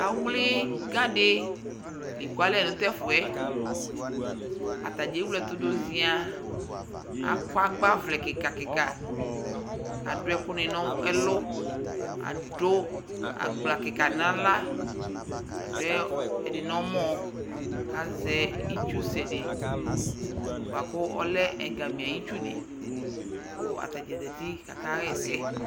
awli ga di l'eku alɛ no t'ɛfu yɛ atadza ewle ɛto do zia akɔ agbavlɛ keka keka k'adu ɛkò ni n'ɛlu adu agbla keka di n'ala adu ɛdi n'ɔmɔ k'azɛ itsu sɛ di boa kò ɔlɛ ɛgami ayi itsu ni kò atadza zati k'aka ɣa ɛsɛ